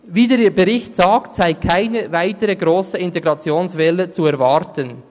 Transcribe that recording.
Wie der Bericht sagt, sei keine weitere grosse Integrationswelle zu erwarten.